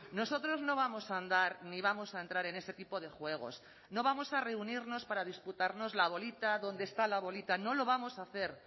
nosotros no vamos a andar ni vamos a entrar en ese tipo de juegos no vamos a reunirnos para disputarnos la bolita dónde está la bolita no lo vamos a hacer